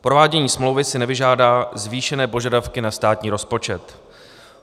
Provádění smlouvy si nevyžádá zvýšené požadavky na státní rozpočet.